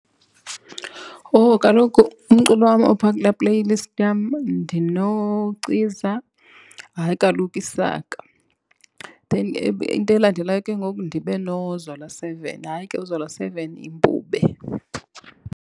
Owu kaloku umculo wam opha kulaa playlist yam ndinoCiza hayi kaloku Isaka. Then into elandelayo ke ngoku ndibe noZola Seven. Hayi, ke uZola Seven yimpube.